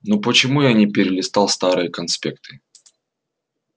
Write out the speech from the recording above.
ну почему я не перелистал старые конспекты